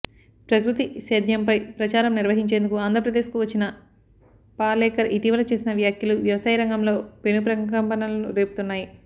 ప్రకృతి సేద్యంపై ప్రచారం నిర్వహించేందుకు ఆంధ్రప్రదేశ్ కు వచ్చిన పాలేకర్ ఇటీవల చేసిన వ్యాఖ్యలు వ్యవసాయరంగంలో పెను ప్రకంపనలు రేపుతున్నాయి